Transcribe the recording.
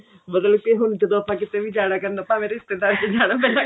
ਮਤਲਬ ਕੇ ਹੁਣ ਜਦੋਂ ਆਪਾਂ ਕਿਤੇ ਵੀ ਜਾਣਾ ਕਰਨਾ ਭਾਵੇਂ ਰਿਸ਼ਤੇਦਾਰੀ ਚ ਜਾਣਾ ਪਹਿਲਾਂ